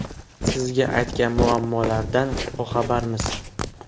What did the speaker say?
Siz aytgan muammolardan boxabarmiz.